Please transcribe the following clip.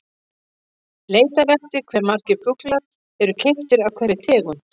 Leitað er eftir hve margir fuglar eru keyptir af hverri tegund.